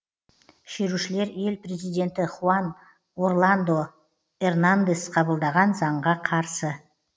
шерушілер ел президенті хуан орландо эрнандес қабылдаған заңға қарсы